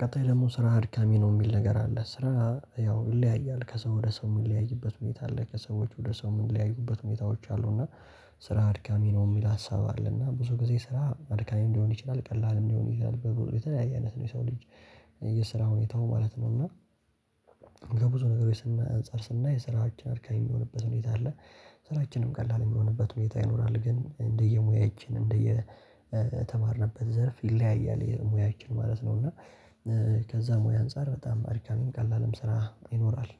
ቀጣይ ደግሞ ስራ አድካሚ ነው የሚል ነገር አለ ስራ ያው ይለያያል ከሰው ወደ ሰው የሚለያይበት ሁኔታ አለ ከሰዎች ወደ ሰው የሚለያዩበት ሁኔታዎች አሉ። እና ስራ አድካሚ ነው የሚል ሀሳብ አለ እና ብዙ ጊዜ ስራ አድካሚም ሊሆን ይችላል ቀላል ሊሆን ይችላል በቡ የተለያየ አይነት ነው የሰው ልጅ የስራ ሁኔታው ማለት ነው። እና ከብዙ ነገሮች ስና አንፃር ስናይ ስራችን አድካሚ የሚሆንበት ሁኔታ አለ። ሥራችንም ቀላል የሚሆንበት ሁኔታ ይኖራል ግን እንደየሙያችን እንደየተማርንበት ዘርፍ ይለያያል የሙያችን ማለት ነው። እና ከዛ ሙያ አንፃር በጣም አድካሚም ቀላልም ስራ ይኖራል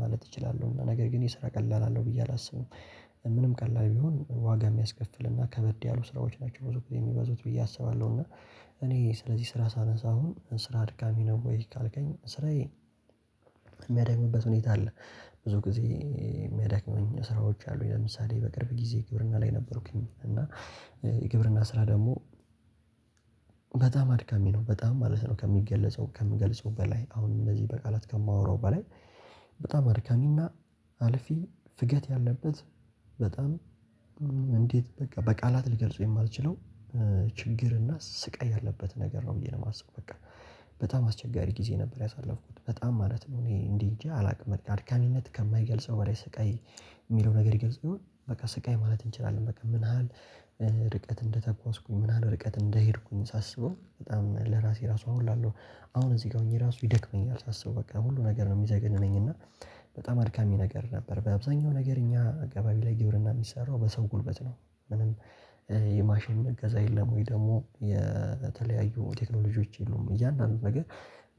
ማለት እችላለሁ። እና ነገር ግን የስራ ቀላል አለው ብዬ አላስብም። ምንም ቀላል ቢሆን ዋጋ የሚያስከፍልና ከበድ ያሉ ስራዎች ናቸው ብዙ ጊዜ የሚበዙት ብዬ አስባለሁ። እና እኔ ስለዚህ ስራ ሳነሳ አሁን ስራ አድካሚ ነው ወይ ካልከኝ ስራዬ የሚያደክምበት ሁኔታ አለ። ብዙ ጊዜ የሚያደክመኝ ስራዎች አሉኝ ለምሳሌ በቅርብ ጊዜ ግብርና ላይ ነበርኩኝ። እና የግብርና ስራ ደግሞ በጣም አድካሚ ነው በጣም ማለት ነው ከሚገለጸው ከምገልጸው በላይ አሁንም እንደዚህ በቃላት ከማወራው በላይ። በጣም አድካሚና አልፊ ፍጋት ያለበት በጣም እንዴት በቃ በቃላት ልገልጸው የማልችለው ችግር እና ስቃይ ያለበት ነገር ነው ብዬ ነው የማስበው። በቃ በጣም አስቸጋሪ ጊዜ ነበር ያሳለፍኩት። በጣም ማለት ነው እኔ እንዲህ እንጃ አላውቅም አድካሚነት ከማይገልጸው ወደ ስቃይ የሚለው ነገር ይገልጽው ይሆን በቃ ስቃይ ማለት እንችላለን። በቃ ምን ያህል ርቀት እንደተጓዝኩ ምን ያህል ርቀት እንደሄድኩኝ ሳስበው በጣም ለራሴ ራሱ አሁን እላለሁ። አሁን እዚህ ጋ ሆኜ ራሱ ይደክመኛል ሳስበው በቃ ሁሉ ነገር ነው የሚዘገንነኝ እና። በጣም አድካሚ ነገር ነበር በአብዛኛው ነገር እኛ አካባቢ ላይ ግብርና የሚሰራው በሰው ጉልበት ነው። ምንም የማሽን እገዛ የለም ወይ ደግሞ የተለያዩ ቴክኖሎጂዎች የሉም። እያንዳንዱን ነገር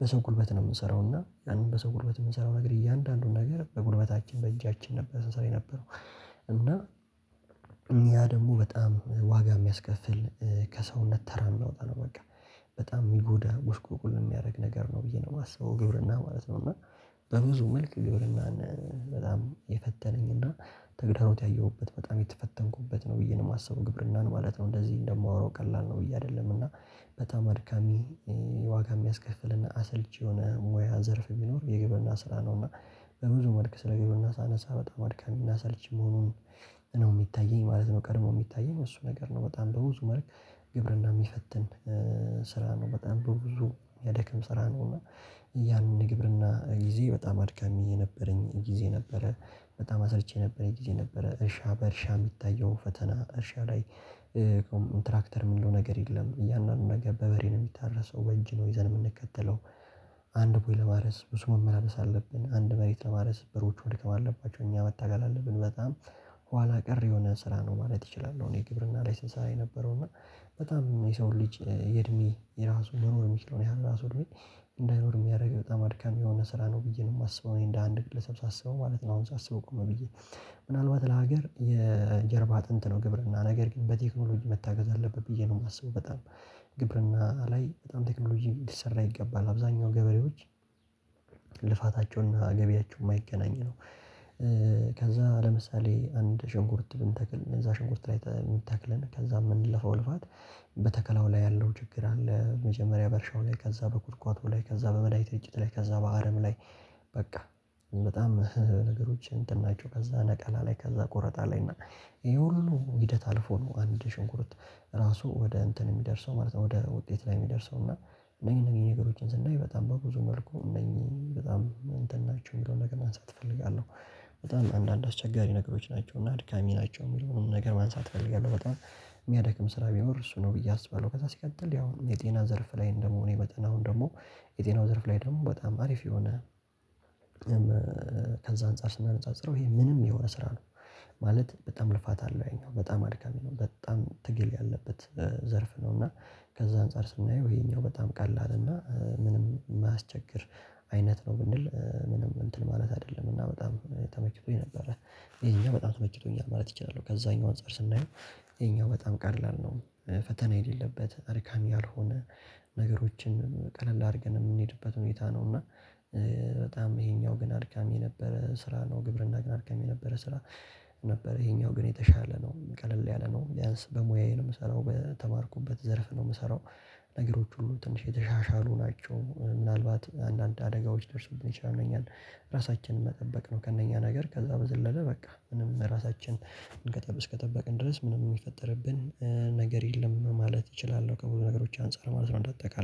በሰው ጉልበት ነው የምንሰራው እና ያንን በሰው ጉልበት የምንሰራው ነገር እያንዳንዱን ነገር በጉልበታችን በእጃችን ነበር ስንሰራ የነበረው። እና ያ ደግሞ በጣም ዋጋ የሚያስከፍል ከሰውነት ተራ የሚያወጣ ነው። በቃ በጣም የሚጎዳ ጉስቁልቁል የሚያደርግ ነገር ነው ብዬ ነው የማስበው። ግብርና ማለት ነው። እና በብዙ መልክ ግብርናን በጣም የፈተነኝ እና ተግዳሮት ያየሁበት በጣም የተፈተንኩበት ነው ብዬ ነው የማስበው። ግብርናን ማለት ነው። እንደዚህ እንደማወራው ቀላል ነው ብዬ አይደለም። እና በጣም አድካሚ ዋጋ የሚያስከፍልና አሰልቺ የሆነ ሙያ ዘርፍ ቢኖር የግብርና ስራ ነው። እና በብዙ መልክ ስለ ግብርና ሳነሳ በጣም አድካሚ እና አሰልች መሆኑን ነው የሚታየኝ ማለት ነው። ቀድሞ የሚታየኝ እሱ ነገር ነው በጣም በብዙ መልክ ግብርና የሚፈትን ስራ ነው። በጣም በብዙ የሚያደከም ስራ ነው። እና ያንን የግብርና ጊዜ በጣም አድካሚ የነበረኝ ጊዜ ነበረ። በጣም አሰልች የነበረኝ ጊዜ ነበረ። እርሻ በእርሻ የሚታየው ፈተና እርሻ ላይ ሆም ትራክተር የሚለው ነገር የለም። እያንዳንዱ ነገር በበሬ ነው የሚታረሰው በእጅ ነው ይዘን የምንከተለው። አንድ ቦይ ለማረስ ብዙ መመላለስ አለብን አንድ መሬት ለማረስ በሮቹ መድከም አለባቸው እኛ መታገል አለብን በጣም ኋላ ቀር የሆነ ስራ ነው ማለት እችላለሁ። እኔ ግብርና ላይ ሰንሠራ የነበረው እና በጣም የሰው ልጅ የእድሜ የራሱ መኖር የሚችለው ያህል ራሱ እድሜ እንዳይኖር የሚያደርግ በጣም አድካሚ የሆነ ስራ ነው ብዬ ነው የማስበው። እኔ እንደ አንድ ግለሰብ ሳስበው ማለት ነው። አሁን ሳስበው ቆም ብዬ ምናልባት ለሀገር የጀርባ አጥንት ነው ግብርና ነገር ግን በቴክኖሎጂ መታገዝ አለበት ብዬ ነው የማስበው። በጣም ግብርና ላይ በጣም ቴክኖሎጂ ሊሰራ ይገባል አብዛኛው ገበሬዎች ልፋታቸውና ገቢያቸው የማይገናኝ ነው። ከዛ ለምሳሌ አንድ ሸንኩርት ብንተክል እነዛ ሸንኩርት ላይ ተ ተክለን ከዛ የምንለፈው ልፋት በተከላው ላይ ያለው ችግር አለ። መጀመሪያ በእርሻው ላይ ከዛ በኩትኳቶ ላይ ከዛ በመድኃኒት እርጭት ላይ ከዛ በአረም ላይ። በቃ በጣም ነገሮችን እንትን ናቸው ከዛ ነቀላ ላይ ከዛ ቆረጣ ላይ ነው ይሄ ሁሉ ሂደት አልፎ ነው አንድ ሽንኩርት ራሱ ወደ እንትን የሚደርሰው ማለት ነው ወደ ውጤት ላይ የሚደርሰው። እና እነኚህ እነኚህ ነገሮችን ስናይ በጣም በብዙ መልኩ እነኚህ በጣም እንትን ናቸው የሚለውን ነገር ማንሳት እፈልጋለሁ። በጣም አንዳንድ አስቸጋሪ ነገሮች ናቸው እና አድካሚ ናቸው የሚለውንም ነገር ማንሳት እፈልጋለሁ። በጣም የሚያደክም ስራ ቢኖር እሱ ነው ብዬ አስባለሁ። ከዛ ሲቀጥል ያው የጤና ዘርፍ ላይ እንደመሆኔ መጠን አሁን ደግሞ የጤናው ዘርፍ ላይ ደግሞ በጣም አሪፍ የሆነ አንፃር ስናነጻጽረው ይሄ ምንም የሆነ ስራ ነው። ማለት በጣም ልፋት አለው ያኛው በጣም አድካሚ ነው በጣም ትግል ያለበት ዘርፍ ነው። እና ከዛ አንፃር ስናየው ይሄኛው በጣም ቀላል እና ምንም የማያስቸግር አይነት ነው። ብንል ምንም እንትን ማለት አይደለም። እና በጣም ተመችቶኝ ነበረ ይሄኛው በጣም ተመችቶኛል ማለት ይቻላል። ከዛኛው አንፃር ስናየው ይሄኛው በጣም ቀላል ነው። ፈተና የሌለበት አድካሚ ያልሆነ ነገሮችን ቀለል አድርገን የምንሄድበት ሁኔታ ነው። እና በጣም ይሄኛው ግን አድካሚ የነበረ ስራ ነው ግብርና ግን አድካሚ የነበረ ስራ። ነበረ ይሄኛው ግን የተሻለ ነው ቀለል ያለ ነው ቢያንስ በሙያዬ ነው የምሰራው በተማርኩበት ዘርፍ ነው የምሰራው። ነገሮች ሁሉ ትንሽ የተሻሻሉ ናቸው። ምናልባት አንዳንድ አደጋዎች ሊደርሱብን ይችላሉ እነኛን ራሳችንን መጠበቅ ነው። ከእነኛ ነገር ከዛ በዘለለ በቃ ምንም ራሳችንን ከ እስከጠበቅን ድረስ ምንም የሚፈጠርብን ነገር የለም ማለት እችላለሁ። ከብዙ ነገሮች አንፃር ማለት ነው እንደአጠቃላይ